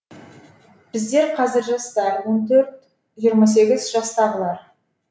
бізде қазір жастар он төрт жиырма сегіз жастағылар